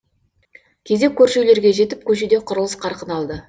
кезек көрші үйлерге жетіп көшеде құрылыс қарқын алды